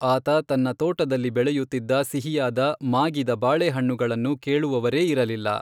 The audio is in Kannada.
ಆತ ತನ್ನ ತೋಟದಲ್ಲಿ ಬೆಳೆಯುತ್ತಿದ್ದ ಸಿಹಿಯಾದ, ಮಾಗಿದ ಬಾಳೆಹಣ್ಣುಗಳನ್ನು ಕೇಳುವವರೇ ಇರಲಿಲ್ಲ.